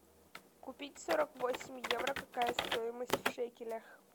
купить сорок восемь евро какая стоимость в шекелях